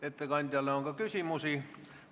Ettekandjale on ka küsimusi.